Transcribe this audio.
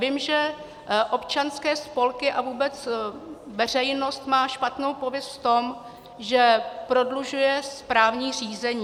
Vím, že občanské spolky a vůbec veřejnost má špatnou pověst v tom, že prodlužuje správní řízení.